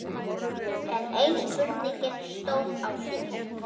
Enn ein spurningin stóð á sér.